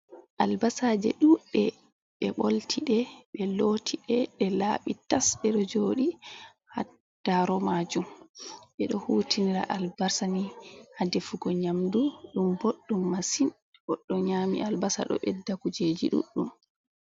Albasaje ɗuɗde ɓe bolti ɗe ɓe loti ɗe ɗe laaɓi tas, ɓe ɗo joɗi ha daro majum, ɓeɗo hutinira albasani ni ha defugo nyamdu, ɗum boɗɗum masin goɗɗo nyama albasa ɗo ɓedda kujeji ɗuɗɗum.